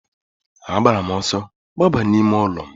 A gbara m ọsọ gbaba n'ime ụlọ m.